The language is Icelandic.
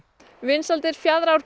vinsældir